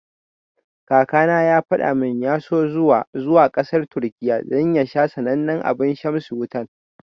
Kakana ya fada mun ya so zuwa zuwa kasar Turkiya dan ya sha sanannen abun shamsi Wutan.